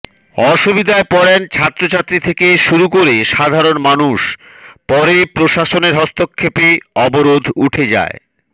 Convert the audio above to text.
অসুবিধায় পড়েন ছাত্রছাত্রী থেকে শুরু করে সাধারণ মানুষ পরে প্রশাসনের হস্তক্ষেপে অবরোধ উঠে যায়